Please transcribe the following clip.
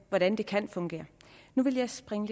hvordan det kan fungere nu vil jeg springe